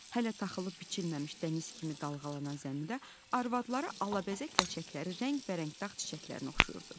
Hələ taxılı biçilməmiş dəniz kimi dalğalanan zəmidə arvadları alabəzək ləçəkləri rəngbərəng dağ çiçəklərinə oxşayırdı.